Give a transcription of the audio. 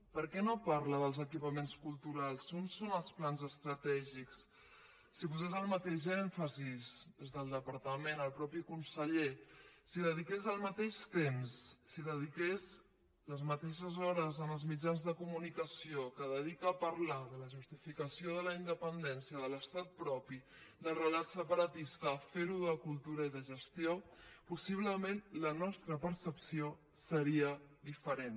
per què no parla dels equipaments culturals on són els plans estratègics si posés el mateix èmfasi des del departament el mateix conseller si dediques el mateix temps si dediques les mateixes hores en els mitjans de comunicació que dedica a parlar de la justificació de la independència de l’estat propi del relat separatista a fer ho de cultura i de gestió possiblement la nostra percepció seria diferent